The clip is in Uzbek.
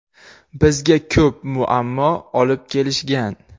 Bizga ko‘p muammo olib kelishgan.